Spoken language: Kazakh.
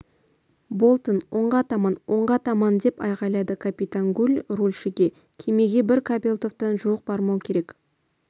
болтон оңға таман оңға таман деп айғайлады капитан гуль рульшігекемеге бір кабельтовтан жуық бармау керек